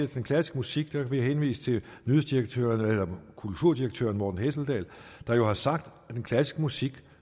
den klassiske musik vil jeg henvise til kulturdirektøren morten hesseldahl der jo har sagt at den klassiske musik